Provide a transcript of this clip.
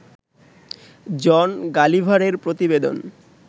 জন গালিভারের প্রতিবেদন